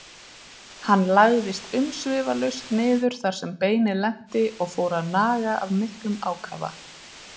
Hann lagðist umsvifalaust niður þar sem beinið lenti og fór að naga af miklum ákafa.